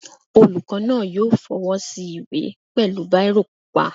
Olùkọ́ náà yóò fọwọ́ sí ìwé pẹ̀lú bírò pupa